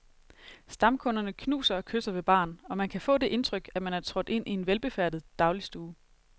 Stamkunderne knuser og kysser ved baren, og man kan få det indtryk, at man er trådt ind i en velbefærdet dagligstue.